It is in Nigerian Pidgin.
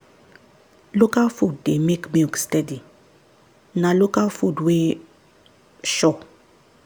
local food dey make milk steady na local food wey sure.